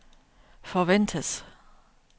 forventes